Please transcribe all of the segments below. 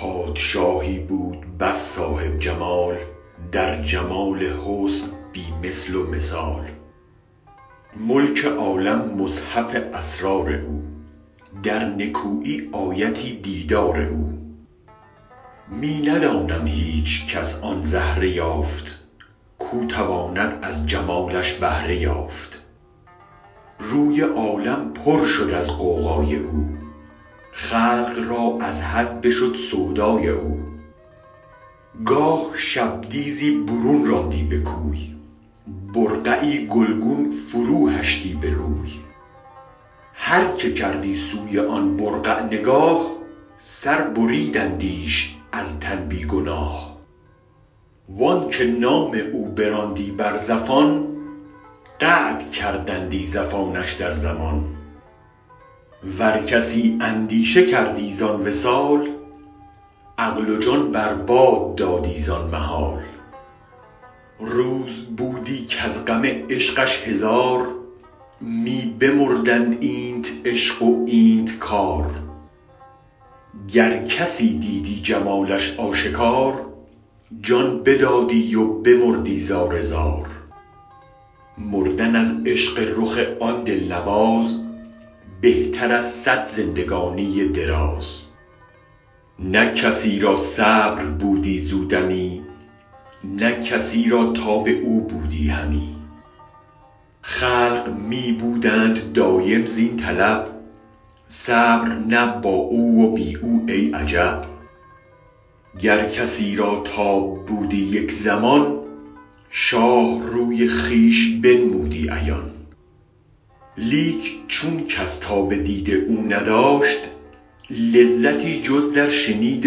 پادشاهی بود بس صاحب جمال در جهان حسن بی مثل و مثال ملک عالم مصحف اسرار او در نکویی آیتی دیدار او می ندانم هیچ کس آن زهره یافت کو تواند از جمالش بهره یافت روی عالم پر شد از غوغای او خلق را از حد بشد سودای او گاه شبدیزی برون راندی به کوی برقعی گلگون فرو هشتی به روی هرک کردی سوی آن برقع نگاه سر بریدندیش از تن بی گناه وآنک نام او براندی بر زفان قطع کردندی زفانش در زمان ور کسی اندیشه کردی زآن وصال عقل و جان بر باد دادی زآن محال روز بودی کز غم عشقش هزار می بمردند اینت عشق و اینت کار گر کسی دیدی جمالش آشکار جان بدادی و بمردی زار زار مردن از عشق رخ آن دل نواز بهتر از صد زندگانی دراز نه کسی را صبر بودی زو دمی نه کسی را تاب او بودی همی خلق می بودند دایم زین طلب صبر نه با او و بی او ای عجب گر کسی را تاب بودی یک زمان شاه روی خویش بنمودی عیان لیک چون کس تاب دید او نداشت لذتی جز در شنید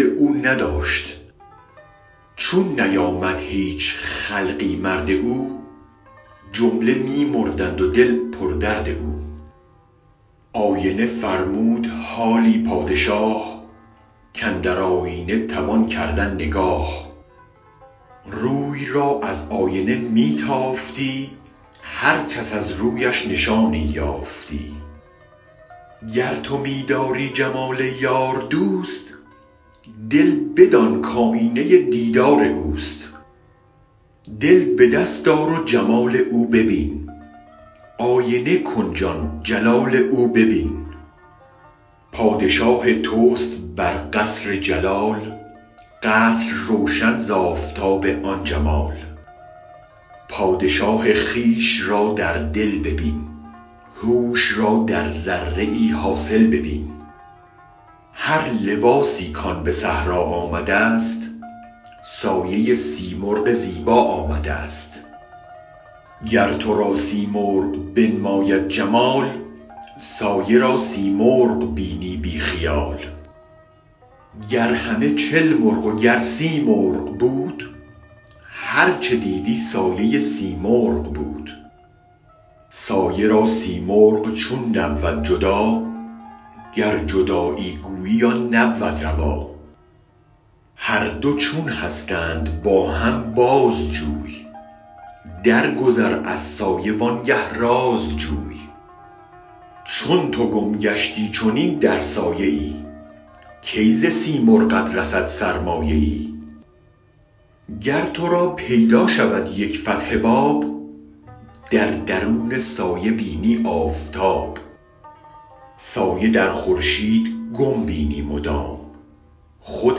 او نداشت چون نیامد هیچ خلقی مرد او جمله می مردند و دل پر درد او آینه فرمود حالی پادشاه کاندر آینه توان کردن نگاه روی را از آینه می تافتی هر کس از رویش نشانی یافتی گر تو می داری جمال یار دوست دل بدان کآیینه دیدار اوست دل به دست آر و جمال او ببین آینه کن جان جلال او ببین پادشاه توست بر قصر جلال قصر روشن زآفتاب آن جمال پادشاه خویش را در دل ببین هوش را در ذره حاصل ببین هر لباسی کآن به صحرا آمدست سایه سیمرغ زیبا آمدست گر تو را سیمرغ بنماید جمال سایه را سیمرغ بینی بی خیال گر همه چل مرغ و گر سی مرغ بود هرچ دیدی سایه سیمرغ بود سایه را سیمرغ چون نبود جدا گر جدایی گویی آن نبود روا هر دو چون هستند با هم بازجوی درگذر از سایه وآن گه راز جوی چون تو گم گشتی چنین در سایه ای کی ز سیمرغت رسد سرمایه ای گر تو را پیدا شود یک فتح باب تو درون سایه بینی آفتاب سایه در خورشید گم بینی مدام خود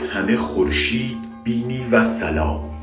همه خورشید بینی والسلام